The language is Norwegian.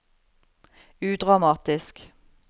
udramatisk